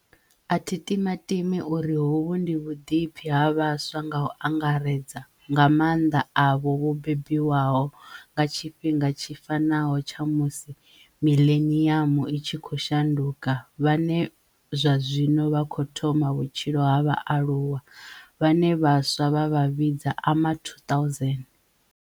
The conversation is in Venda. A thi timatimi uri hovhu ndi vhuḓipfi ha vhaswa nga u anga redza nga maanḓa avho vho bebiwaho nga tshifhinga tshi fanaho tsha musi miḽeniamu i tshi khou shanduka vhane zwa zwino vha khou thoma vhutshilo ha vhaaluwa, vhane vhaswa vha vha vhidza Ama2000.